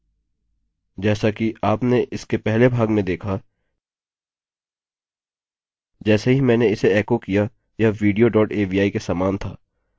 जैसा कि आपने इसके पहले भाग में देखा जैसे ही मैंने इसे एको किया यह विडियो डॉट avi के समान था